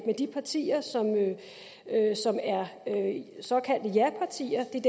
de partier som er såkaldte japartier det er